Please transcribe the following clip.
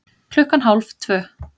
Klukkan hálf tvö